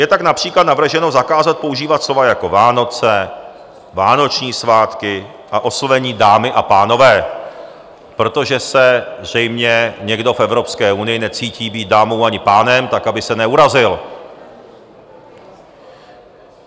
Je tak například navrženo zakázat používat slova jako Vánoce, vánoční svátky a oslovení dámy a pánové, protože se zřejmě někdo v Evropské unii necítí být dámou ani pánem, tak aby se neurazil.